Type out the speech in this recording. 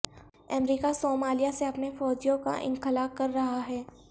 امریکہ Somalia سے اپنے فوجیوں کا انخلا کر رہا ہے